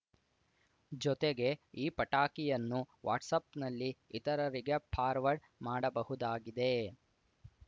ಜೊತೆಗೆ ಈ ಪಟಾಕಿಯನ್ನು ವಾಟ್ಸಾಪ್‌ನಲ್ಲಿ ಇತರರಿಗೆ ಫಾರ್ವರ್ಡ್‌ ಮಾಡಬಹುದಾಗಿದೆ